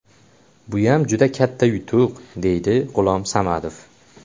Buyam juda katta yutuq”, deydi G‘ulom Samadov.